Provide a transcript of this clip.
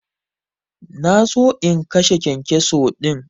Na so in kashe kyankyaso din.